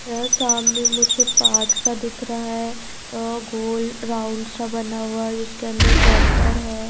अ सामने मुझे पार्क सा दिख रहा है अ गोल राउंड सा बना हुआ उसके अंदर वोटर है।